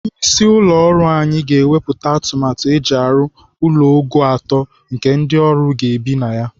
Onye isi ụlọ ọrụ anyị ga-ewepụta atụmatụ eji arụ ụlọ ogo atọ nke ndị ọrụ ga-ebi na ya.